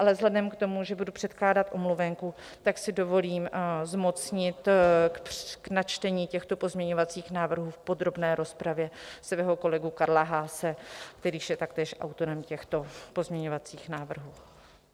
Ale vzhledem k tomu, že budu předkládat omluvenku, tak si dovolím zmocnit k načtení těchto pozměňovacích návrhů v podrobné rozpravě svého kolegu Karla Haase, který je taktéž autorem těchto pozměňovacích návrhů.